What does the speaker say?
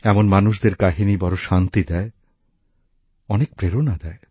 এমন মানুষদের কাহিনী বড় শান্তি দেয় অনেক প্রেরণা দেয়